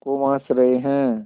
खूब हँस रहे हैं